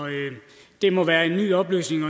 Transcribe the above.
det må være en ny oplysning og